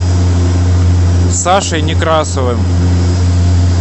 сашей некрасовым